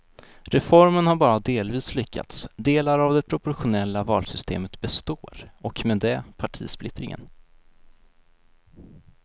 Reformen har bara delvis lyckats, delar av det proportionella valsystemet består och med det partisplittringen.